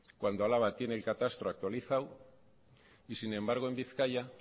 cuando álava tiene el catastro actualizado y sin embargo en bizkaia